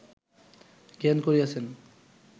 জ্ঞান করিয়াছেন